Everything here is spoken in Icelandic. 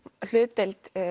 hlutdeild